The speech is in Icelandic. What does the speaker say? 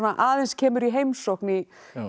aðeins kemur í heimsókn í í